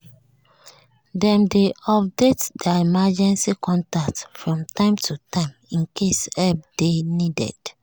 dem dey update their emergency contact from time to time in case help dey needed.